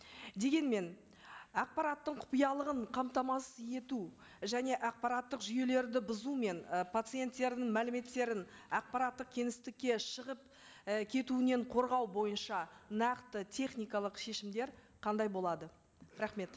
дегенмен ақпараттың құпиялығын қамтамасыз ету және ақпараттық жүйелерді бұзу мен і пациенттердің мәліметтерін ақпараттық кеңістікке шығып і кетуінен қорғау бойынша нақты техникалық шешімдер қандай болады рахмет